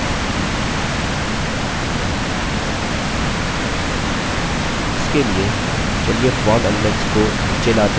इसके लिए चलिए form एलीम्नेट्स को नीचे लाते हैं और फिर form के अंदर मध्य में